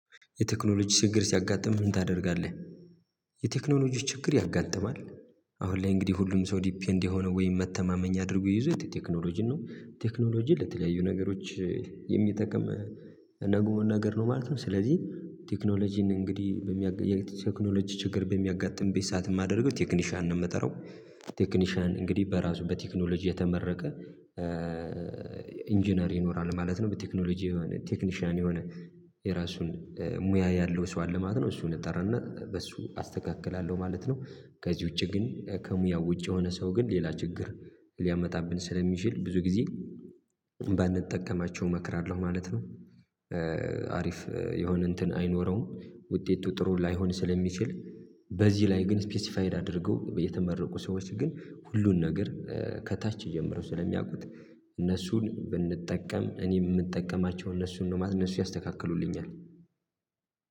የቴክኖሎጂ ችግር ሲያጋጥምህ ምን ታደርጋለህ? የቴክኖሎጂ ችግር ያጋጥማል። አሁን ላይ እንግዲህ ሁሉም ሰው ዲፔንድ የሆነ ወይም መተማመኛ አድርጎ ይዞ የቴክኖሎጂን ነው ቴክኖሎጂ ለተለያዩ ነገሮች የሚጠቅም ነገር ነው ማለት ነው። ስለዚህ ቴክኖሎጂን እንግዲህ በሚያገኝ ቴክኖሎጂ ችግር በሚያጋጥመኝ ሰዓት የማደርገው ቴክኒሻን ነው የምጠራው። ቴክኒሻን እንግዲህ በራሱ በቴክኖሎጂ የተመረቀ ኢንጂነር ይኖራል ማለት ነው። በቴክኖሎጂ የሆነ ቴክኒሻን የሆነ የራሱን ሙያ ያለው ሰው አለ ማለት ነው። እሱን እጠራና በሱ አስተካክላለሁ ማለት ነው። ከዚህ ውጪ ግን ከሙያው ውጪ የሆነ ሰው ግን ሌላ ችግር ሊያመጣብን ስለሚችል ብዙ ጊዜ ባንጠቀማቸው እመክራለሁ ማለት ነው። አሪፍ የሆነ እንትን አይኖረውም ውጤቱ ጥሩ ላይሆን ስለሚችል። በዚህ ላይ ግን ስፔሲፋይድ አድርገው የተመረቁ ሰዎች ግን ሁሉን ነገር ከታች ጀምሮ ስለሚያውቁት እነሱን ብንጠቀም እኔ እምጠቀማቸው እነሱ ነው እነሱ ያስተካክሉልኛል።